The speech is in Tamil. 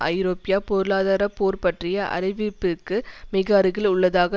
ஐரோப்பா பொருளாதார போர் பற்றிய அறிவிப்பிற்கு மிகஅருகில் உள்ளதாக